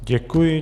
Děkuji.